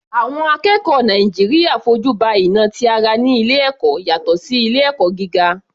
Àwọn akẹ́kọ̀ọ́ Nàìjíríà fojú ba ìnà ti ara ní ilé ẹ̀kọ́ yàtọ̀ sí ilé ẹ̀kọ́ gíga.